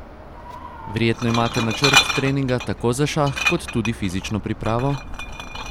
Verjetno imate načrt treninga tako za šah kot tudi fizično pripravo?